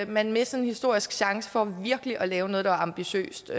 man misser en historisk chance for virkelig at lave noget der var ambitiøst